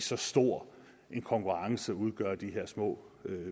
så stor en konkurrence udgør de her små